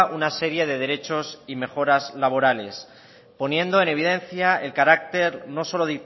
una serie de derechos y mejoras laborales poniendo en evidencia el carácter no solo